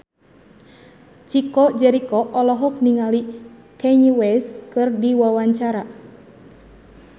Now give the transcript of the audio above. Chico Jericho olohok ningali Kanye West keur diwawancara